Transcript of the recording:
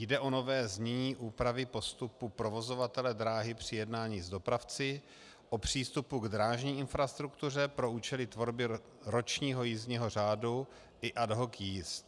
Jde o nové znění úpravy postupu provozovatele dráhy při jednání s dopravci o přístupu k drážní infrastruktuře pro účely tvorby ročního jízdního řádu i ad hoc jízd.